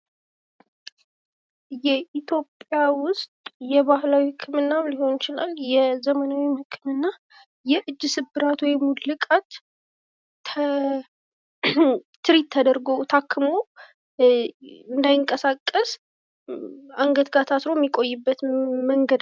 ኢትዮጵያ ውስጥ የባህላዊ ሊሆን ይችላል የዘመናዊ ህክምና የእጅ ስብራት ወይም ውልቃት ትሪት ተደርጎ ታክሞ እንዳይንቀሳቀስ አንገት ጋር ታስሮ የሚቆይበት መንገድ ነው ።